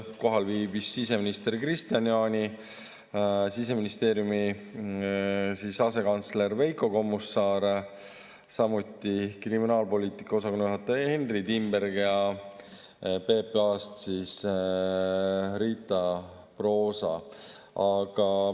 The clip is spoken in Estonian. Kohal viibisid siseminister Kristian Jaani, Siseministeeriumi asekantsler Veiko Kommusaar, samuti kriminaalpoliitika osakonna juhataja Henry Timberg ja PPA-st Riita Proosa.